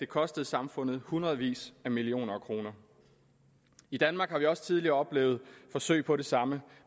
kostede samfundet hundredvis af millioner kroner i danmark har vi også tidligere oplevet forsøg på det samme